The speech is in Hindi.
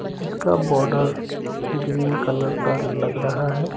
जिसका बॉर्डर ग्रीन कलर का लग रहा है।